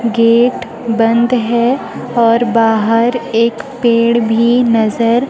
gate बंद है और बाहर एक पेड़ भी नजर--